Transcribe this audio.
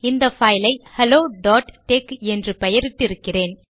இந்த பைலை ஹெலோtex என்று பெயரிட்டு இருக்கிறேன்